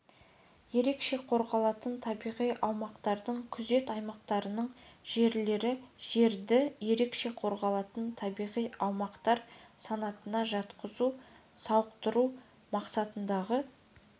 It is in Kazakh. ерекше қорғалатын табиғи аумақтардың күзет аймақтарының жерлері жерді ерекше қорғалатын табиғи аумақтар санатына жатқызу сауықтыру мақсатындағы